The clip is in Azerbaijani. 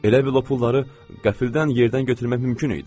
Elə bil o pulları qəfildən yerdən götürmək mümkün idi.